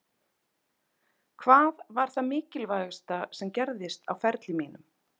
Hvað var það mikilvægasta sem gerðist á ferlinum mínum?